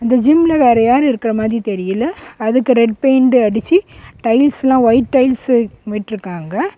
இந்த ஜிம்ல வேற யாரு இருக்குற மாதிரி தெரியல அதுக்கு ரெட் பெயின்ட் அடிச்சி டைல்ஸ் எல்லா ஒயிட் டைல்ஸு விட்ருக்காங்க.